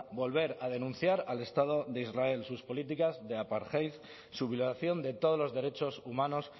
volver a denunciar al estado de israel sus políticas de apartheid su violación de todos los derechos humanos